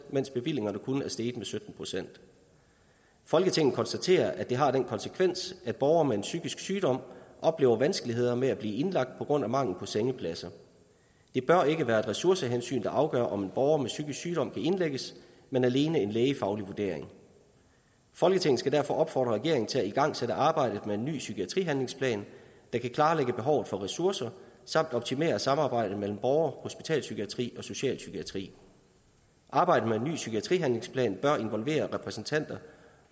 mens bevillingerne kun er steget med sytten procent folketinget konstaterer at det har den konsekvens at borgere med en psykisk sygdom oplever vanskeligheder med at blive indlagt på grund af mangel på sengepladser det bør ikke være ressourcehensyn der afgør om en borger med psykisk sygdom kan indlægges men alene en lægefaglig vurdering folketinget skal derfor opfordre regeringen til at igangsætte arbejdet med en ny psykiatrihandlingsplan der kan klarlægge behovet for ressourcer samt optimere samarbejdet mellem borger hospitalspsykiatri og specialpsykiatri arbejdet med en ny psykiatrihandlingsplan bør involvere repræsentanter